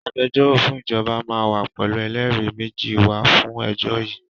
Agbẹjọ́rò fún ìjọba máa wá pẹ̀lú ẹlẹ́rìí méjì wá fún ẹjọ́ yìí